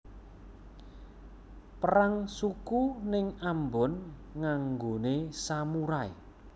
Perang suku ning Ambon nganggone samurai